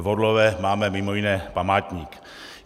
V Orlové máme mimo jiné památník.